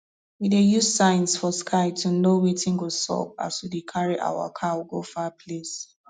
we dey use signs for sky to know wetin go sup as we dey carry our cow go far place